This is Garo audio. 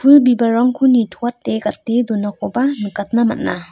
pul bibalrangko nitoate gate donakoba nikatna man·a.